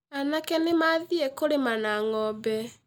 Anake nĩ mathiĩ kũrĩma na ng'ombe